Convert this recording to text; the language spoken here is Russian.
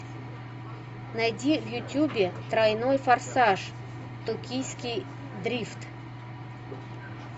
найди в ютюбе тройной форсаж токийский дрифт